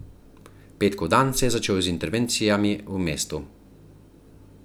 Petkov dan se je začel z intervencijami v mestu.